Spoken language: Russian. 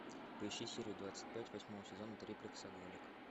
поищи серию двадцать пять восьмого сезона триплексоголик